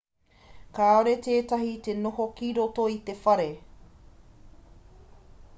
kāore tētahi i te noho ki roto i te whare